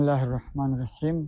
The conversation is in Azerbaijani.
Bismillahirrahmanirrahim.